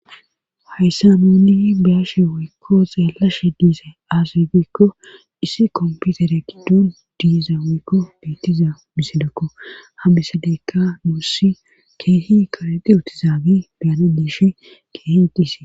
hayssa nuuni yi baashe woykko xaelashe diise aazegekko issi komputere gidduun diiza weekko beettiza misidakko ha bisadeykka nuussi keehi karexi uutizaagi beyana diishi keehi dhiise